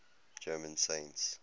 german saints